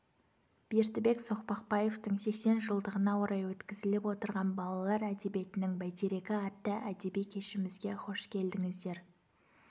бердібек соқпақбаевтың сексен жылдығына орай өткізіліп отырған балалар әдебиетінің бәйтерегі атты әдеби кешімізге хош келдіңіздер